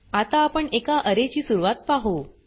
आता आपण एका अरे ची सुरवात पाहु